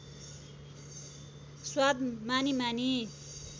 स्वाद मानी मानी